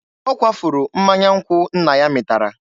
Ọ kwafuru mmanya nkwụ nna ya mịtara.